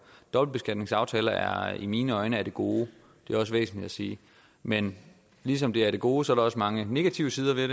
dobbeltbeskatningsaftaler er i mine øjne af det gode det er også væsentligt at sige men ligesom de er af det gode er der også mange negative sider ved